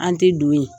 An tɛ don yen